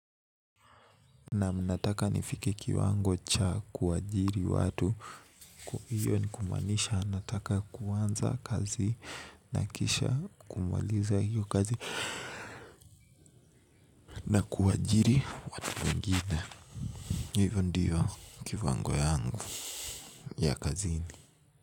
Naam nataka nifike kiwango cha kuwaajiri watu. Kwa hiyo ni kumaanisha nataka kuanza kazi. Na kisha kumaliza hiyo kazi. Na kuwaajiri watu wangine. Hivyo ndiyo kiwango yangu ya kazini.